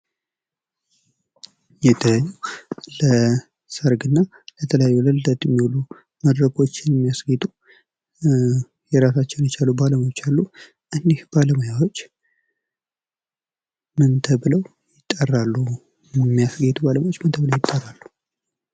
የተለያዩ ለሰርግና ለተለያዩ ለልደት የሚውሉ መድረኮችን የሚያስጌጡ እራሳቸውን የቻሉ ባለሙያዎች አሉ። እነዚህ ባለሙያዎች ምን ተብለው ይጠራሉ?